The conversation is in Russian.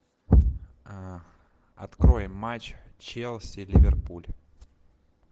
открой матч челси ливерпуль